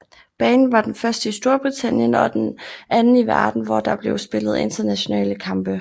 Banen var den første i Storbritannien og den anden i verden hvor der blev spillet internationale kampe